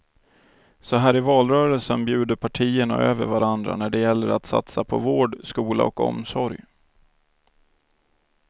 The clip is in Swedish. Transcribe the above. Så här i valrörelsen bjuder partierna över varandra när det gäller att satsa på vård, skola och omsorg.